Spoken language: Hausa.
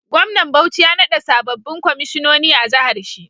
Gwamnan bauchi ya nada sabobin kwaishinoni a jahar shi